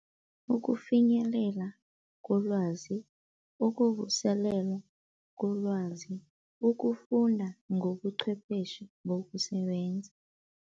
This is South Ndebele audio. Ukufinyelela kolwazi, ukuvuselelwa kolwazi, ukufunda ngobuchwepheshe bokusebenza.